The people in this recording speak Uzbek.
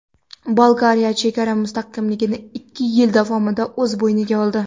Bolgariya chegara mustahkamligini ikki yil davomida o‘z bo‘yniga oldi.